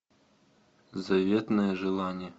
заветное желание